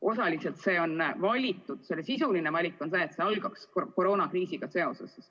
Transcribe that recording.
Osaliselt see on valitud seepärast, et see algaks koroonakriisiga.